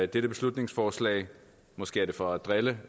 dette beslutningsforslag måske er det for at drille